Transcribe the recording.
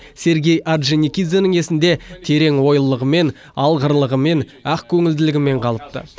сергей орджоникидзенің есінде терең ойлылығымен алғырлығымен ақкөңілділігімен қалыпты